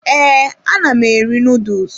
Ee, ana m eri noodles.